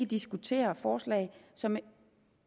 diskutere forslag som